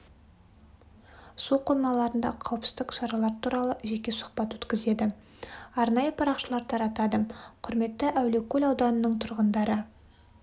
су қоймаларында қауіпсіздік шаралар туралы жеке сұхбат өткізеді арнайы парақшалар таратады құрметті әулиекөл ауданының тұрғындары